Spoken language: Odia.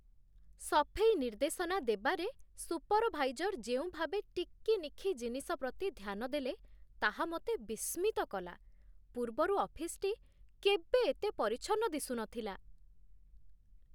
ସଫେଇ ନିର୍ଦ୍ଦେଶନା ଦେବାରେ ସୁପରଭାଇଜର ଯେଉଁ ଭାବେ ଟିକିନିଖି ଜିନିଷ ପ୍ରତି ଧ୍ୟାନ ଦେଲେ, ତାହା ମୋତେ ବିସ୍ମିତ କଲା। ପୂର୍ବରୁ ଅଫିସଟି କେବେ ଏତେ ପରିଚ୍ଛନ୍ନ ଦିଶୁନଥିଲା!